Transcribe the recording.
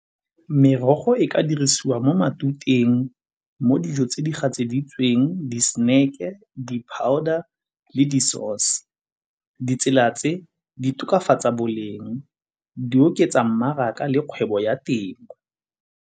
Merogo e ka dirisiwa mo matuteng, mo dijo tse di gatseditsweng, di-snack-e, di-powder le di-sause. Ditsela tse di tokafatsa boleng, di oketsa mmaraka le kgwebo ya temo.